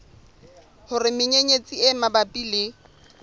hore menyenyetsi e mabapi le